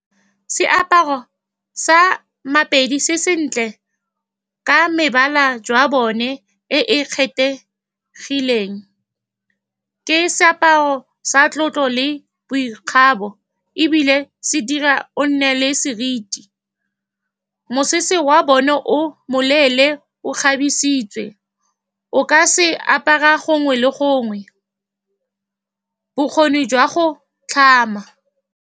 Seaparo sa Mapedi se sentle ka mebala jwa bone e e kgethegileng. Ke seaparo sa tlotlo le boikgabo, ebile se dira o nne le seriti. Mosese wa bone o moleele, o kgabisitswe, o ka se apara gongwe le gongwe. Bokgoni jwa go tlhama.